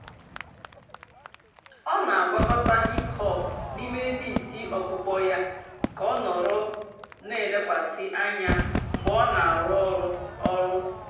ọ́ nà-àgwàkọ̀tá hìp-hòp n'íìmé lístì ọ̀kpụ́kpọ́ yá kà ọ́ nọ̀rọ́ nà-èlékwasị́ ànyá mg̀bé ọ́ nà-àrụ́ ọ̀rụ́. ọ̀rụ́.